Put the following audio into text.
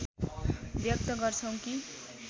व्यक्त गर्छौं कि